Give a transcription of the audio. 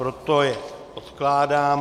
Proto je odkládám.